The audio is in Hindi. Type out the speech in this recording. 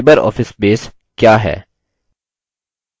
libreoffice base क्या है